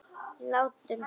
Látum svona vera.